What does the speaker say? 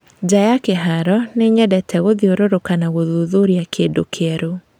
Nja ya kĩharo, nĩnyendete gũthirũrũka na gũthuthuria kũndũ kwerũ